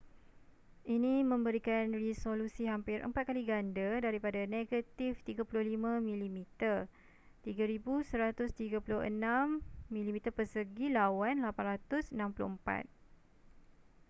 ini memberikan resolusi hampir empat kali ganda daripada negatif 35 mm 3136 mm2 lawan 864